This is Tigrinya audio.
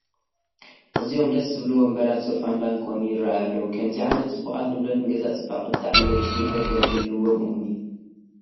ኣዝዮም ደስ ዝብሉ ወንበራት፣ ሶፋን ባንኮንን ይርአዩ ኣለዉ፡፡ ከምዚ ዓይነት ፅቡቓት ንብረት ንገዛ ፅባቐ ብጣዕሚ ለዋጢ ጉልበት ከምዝህልዎም እሙን እዩ፡፡